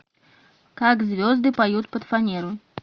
как звезды поют под фанеру